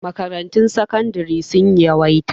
Makarantun sakandari sun yawaita